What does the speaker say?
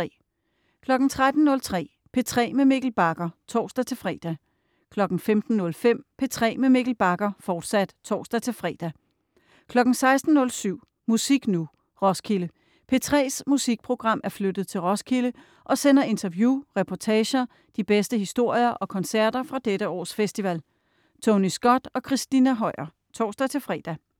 13.03 P3 med Mikkel Bagger (tors-fre) 15.05 P3 med Mikkel Bagger, fortsat (tors-fre) 16.07 Musik Nu! Roskilde. P3's musikprogram er flyttet til Roskilde og sender interview, reportager, de bedste historier og koncerter fra dette års festival. Tony Scott og Christina Høier. (tors-fre)